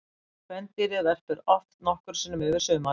Kvendýrið verpir oft nokkrum sinnum yfir sumarið.